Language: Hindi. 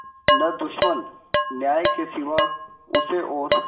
न दुश्मन न्याय के सिवा उसे और